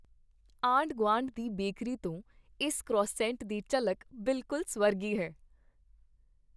ਆਂਢ ਗੁਆਂਢ ਦੀ ਬੇਕਰੀ ਤੋਂ ਇਸ ਕ੍ਰੋਇਸੈਂਟ ਦੀ ਝਲਕ ਬਿਲਕੁਲ ਸਵਰਗੀ ਹੈ